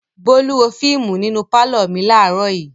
Bólú wo fíímù nínú pálọ̀ mi láàárọ̀ yìí.